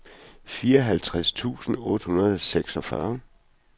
fireoghalvtreds tusind otte hundrede og seksogfyrre